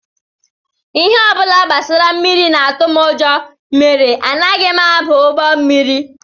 Ihe ọ bụla gbasara mmiri na-atụ m ụjọ mere anaghị m aba ụgbọ mmiri